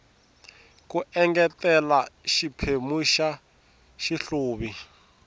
ku engetela xiphemu xa xihluvi